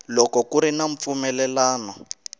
loko ku ri na mpfumelelano